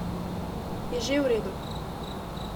Je že v redu.